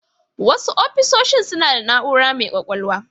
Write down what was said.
Wasu ofisoshi suna da na'ura mai kwakwalwa